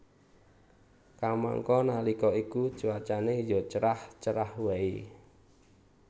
Kamangka nalika iku cuaca ya cerah cerah waé